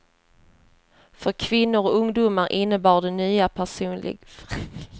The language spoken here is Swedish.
För kvinnor och ungdomar innebar det nya personlig frigörelse.